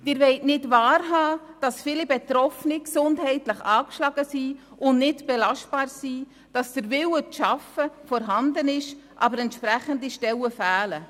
Sie wollen nicht wahrhaben, dass viele Betroffene gesundheitlich angeschlagen und nicht belastbar sind und dass der Wille zu arbeiten vorhanden ist, aber entsprechende Stellen fehlen.